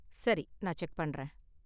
சரி, நான் செக் பண்றேன்.